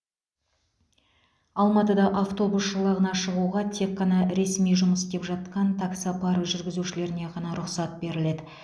алматыда автобус жолағына шығуға тек қана ресми жұмыс істеп жатқан таксопарк жүргізушілеріне ғана рұқсат беріледі